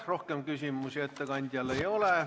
Rohkem küsimusi ettekandjale ei ole.